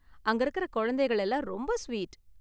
அங்கிருக்கிற குழந்தைகள் எல்லாம் ரொம்ப ஸ்வீட்.